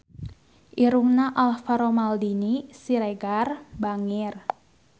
Irungna Alvaro Maldini Siregar bangir